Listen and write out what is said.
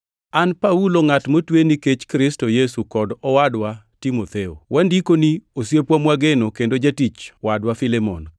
An Paulo ngʼat motwe nikech Kristo Yesu kod owadwa Timotheo, Wandikoni osiepwa mwageno kendo jatich wadwa Filemon,